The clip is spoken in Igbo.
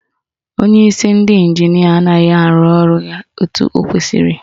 Onyeisi ndị ịnjinịa anaghị arụ ọrụ ya etu o kwesiri